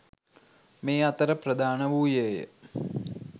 මේ අතර ප්‍රධාන වූයේය.